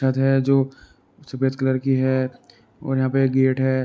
अर् है जो सफेद कलर कि है और यहाँ पे ए गेट है।